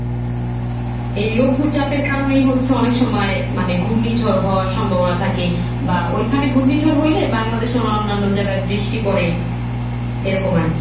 এই লঘু চাপের কারণেই হচ্ছে অনেক সময় মানে ঘূর্ণিঝড় হওয়ার সম্ভাবনা থাকে বা ওইখানে ঘূর্ণিঝড় হইলে বাংলাদেশের অন্যান্য জায়গায় বৃষ্টি পড়ে এরকম আর কি।